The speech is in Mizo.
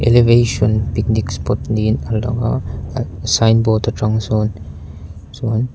elevation picnic spot niin a lang a ad sign board atang sawn chuan.